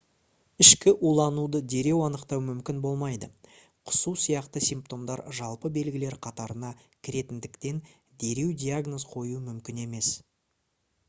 ішкі улануды дереу анықтау мүмкін болмайды құсу сияқты симптомдар жалпы белгілер қатарына кіретіндіктен дереу диагноз қою мүмкін емес